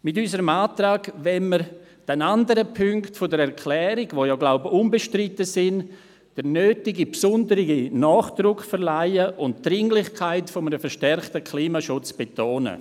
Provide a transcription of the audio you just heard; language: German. Mit unserem Antrag wollen wir den anderen Punkten der Erklärung, die unbestritten sind, den nötigen besonderen Nachdruck verleihen und die Dringlichkeit eines verstärkten Klimaschutzes betonen.